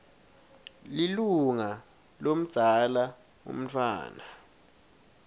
lilunga lomdzala umntfwana